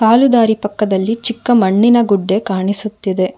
ಕಾಲು ದಾರಿ ಪಕ್ಕದಲ್ಲಿ ಚಿಕ್ಕ ಮಣ್ಣಿನ ಗುಡ್ಡೆ ಕಾಣಿಸುತ್ತಿದೆ.